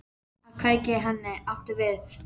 Að kveikja í henni, áttu við?